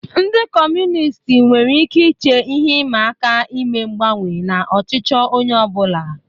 Ndị Kọmunist nwere ike iche ihe ịma aka ime mgbanwe na ọchịchọ onye ọ bụla.